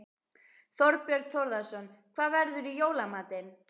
Þorbjörn Þórðarson: Hvað verður í jóla matinn?